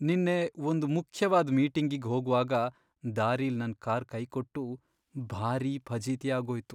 ನಿನ್ನೆ ಒಂದ್ ಮುಖ್ಯವಾದ್ ಮೀಟಿಂಗಿಗ್ ಹೋಗ್ವಾಗ ದಾರಿಲ್ ನನ್ ಕಾರ್ ಕೈಕೊಟ್ಟು ಭಾರೀ ಫಜೀತಿ ಆಗೋಯ್ತು.